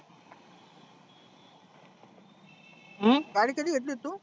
हम्म गाडी कधी घेतली होती म्हणी तु?